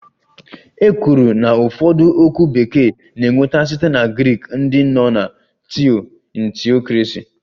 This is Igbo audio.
"E kwuru na ụfọdụ okwu Bekee na-enweta site na Grik dị nnọọ ka""Theo"""in theocracy"